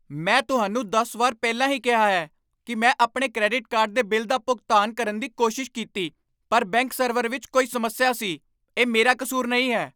ਮੈਂ ਤੁਹਾਨੂੰ ਦਸ ਵਾਰ ਪਹਿਲਾਂ ਹੀ ਕਿਹਾ ਹੈ ਕਿ ਮੈਂ ਆਪਣੇ ਕ੍ਰੈਡਿਟ ਕਾਰਡ ਦੇ ਬਿੱਲ ਦਾ ਭੁਗਤਾਨ ਕਰਨ ਦੀ ਕੋਸ਼ਿਸ਼ ਕੀਤੀ ਪਰ ਬੈਂਕ ਸਰਵਰ ਵਿੱਚ ਕੋਈ ਸਮੱਸਿਆ ਸੀ। ਇਹ ਮੇਰਾ ਕਸੂਰ ਨਹੀਂ ਹੈ!